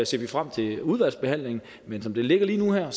ser vi frem til udvalgsbehandlingen men som det ligger lige nu og her